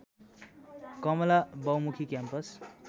कमला बहुमुखी क्याम्पस